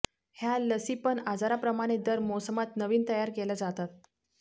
ह्या लसीपण आजाराप्रमाणे दर मोसमात नवीन तयार केल्या जातात